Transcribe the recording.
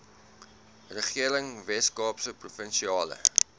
regering weskaapse provinsiale